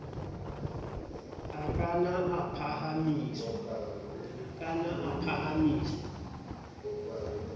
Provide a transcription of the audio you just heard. a ka na a phahamiswa